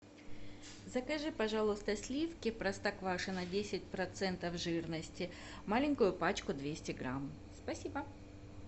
закажи пожалуйста сливки простоквашино десять процентов жирности маленькую пачку двести грамм спасибо